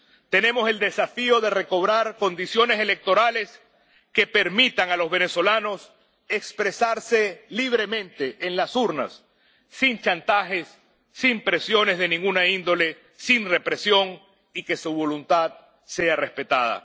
Tenemos el desafío de recobrar condiciones electorales que permitan a los venezolanos expresarse libremente en las urnas, sin chantajes, sin presiones de ninguna índole, sin represión, y que su voluntad sea respetada.